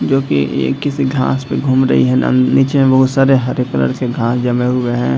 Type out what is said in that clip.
जो कि ये किसी घांस पे घूम रही है। नं नीचे में बहुत सारे हरे कलर के घांस जमे हुए हैं।